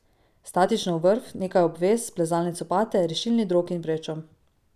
Statično vrv, nekaj obvez, plezalne copate, rešilni drog in vrečo.